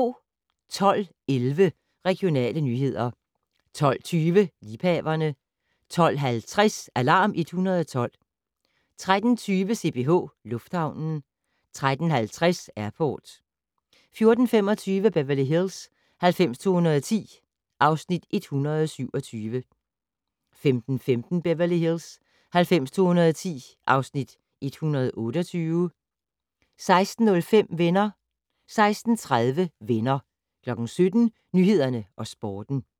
12:11: Regionale nyheder 12:20: Liebhaverne 12:50: Alarm 112 13:20: CPH Lufthavnen 13:50: Airport 14:25: Beverly Hills 90210 (Afs. 127) 15:15: Beverly Hills 90210 (Afs. 128) 16:05: Venner 16:30: Venner 17:00: Nyhederne og Sporten